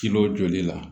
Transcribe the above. Kin'o joli la